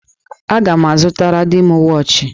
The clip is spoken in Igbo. Aga m azụtara di m wọọchị.